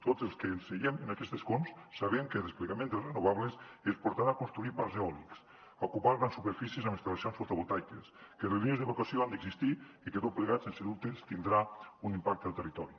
tots els que ens asseiem en aquests escons sabem que el desplegament de les renovables ens portarà a construir parcs eòlics a ocupar grans superfícies amb instal·lacions fotovoltaiques que les línies d’evacuació han d’existir i que tot plegat sense dubtes tindrà un impacte al territori